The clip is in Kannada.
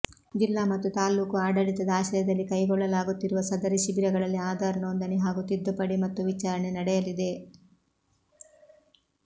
ಜಿಲ್ಲಾ ಮತ್ತು ತಾಲ್ಲೂಕು ಆಡಳಿತದ ಆಶ್ರಯದಲ್ಲಿ ಕೈಗೊಳ್ಳಲಾಗುತ್ತಿರುವ ಸದರಿ ಶಿಬಿರಗಳಲ್ಲಿ ಆಧಾರ್ ನೋದಂಣಿ ಹಾಗೂ ತಿದ್ದುಪಡಿ ಮತ್ತು ವಿಚಾರಣೆ ನಡೆಯಲಿದೆ